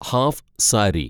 half sari